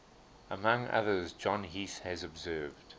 among others john heath has observed